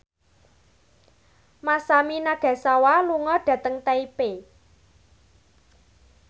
Masami Nagasawa lunga dhateng Taipei